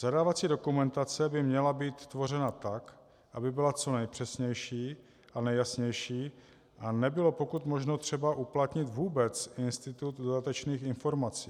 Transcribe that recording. Zadávací dokumentace by měla být tvořena tak, aby byla co nejpřesnější a nejjasnější a nebylo pokud možno třeba uplatnit vůbec institut dodatečných informací.